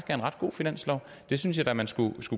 er en ret god finanslov og det synes jeg da man skulle